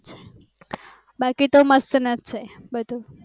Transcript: બાકી તો મસ્ત નજ છે બધું